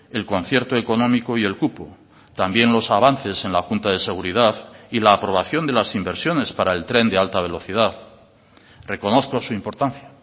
el concierto económico y el cupo también los avances en la junta de seguridad y la aprobación de las inversiones para el tren de alta velocidad reconozco su importancia